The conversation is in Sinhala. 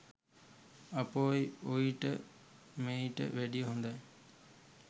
අපොයි ඔයිට මෙයිට වැඩිය හොඳයි